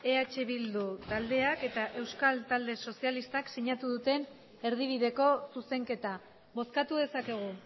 eh bildu taldeak eta euskal talde sozialistak sinatu duten erdibideko zuzenketa bozkatu dezakegu